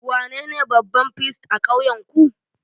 Wanene babban firist a ƙauyenku?